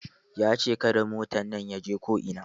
Ya ce "Kada motan nan ya je ko'ina"!